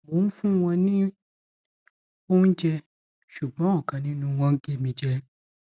mo ń fún wọn ní oúnjẹ ṣùgbọn ọkan nínú wọn gé mi jẹ